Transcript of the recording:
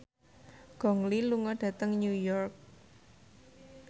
Gong Li lunga dhateng New York